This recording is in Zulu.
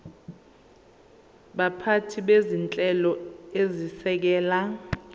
baphathi bezinhlelo ezisekela